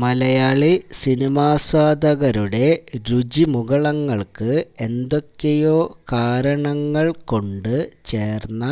മലയാളി സിനിമാസ്വാദകരുടെ രുചിമുകുളങ്ങള്ക്ക് എന്തൊക്കെയോ കാരണങ്ങള് കൊണ്ട് ചേര്ന്ന